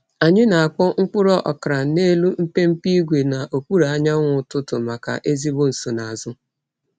Anyị na-akpọ mkpụrụ okra n’elu mpempe ígwè n’okpuru anyanwụ ụtụtụ maka ezigbo nsonaazụ.